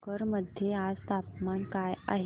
भोकर मध्ये आज तापमान काय आहे